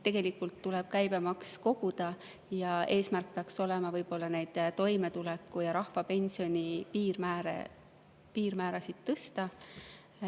Tegelikult tuleb käibemaksu koguda ja eesmärk peaks olema võib-olla toimetulekupiiri ja rahvapensioni piirmäära tõsta.